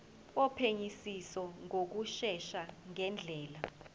wophenyisiso ngokushesha ngendlela